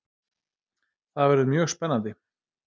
Það verður mjög spennandi.